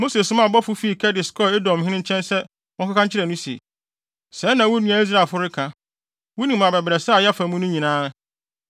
Mose somaa abɔfo fii Kades kɔɔ Edomhene nkyɛn sɛ wɔnkɔka nkyerɛ no se: “Sɛɛ na wo nua Israelfo reka: Wunim abɛbrɛsɛ a yɛafa mu no nyinaa.